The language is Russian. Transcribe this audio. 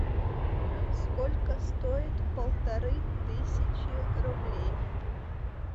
сколько стоит полторы тысячи рублей